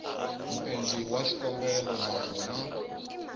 muendli wa xikombelo na swona